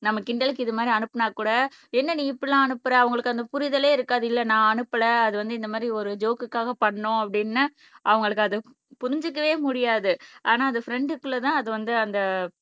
நம்ம கிண்டலுக்கு இது மாதிரி அனுப்புனா கூட என்ன நீ இப்படி எல்லாம் அனுப்புற அவங்களுக்கு அந்த புரிதலே இருக்காது இல்ல நான் அனுப்பல அது வந்து இந்த மாதிரி ஒரு ஜோக்குக்காக பண்னோம் அப்படின்னு அவங்களுக்கு அது புரிஞ்சுக்கவே முடியாது ஆனால் அது ஃப்ரண்டுக்குள்ள தான் அது வந்து அந்த